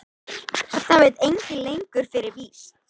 Það veit enginn lengur fyrir víst.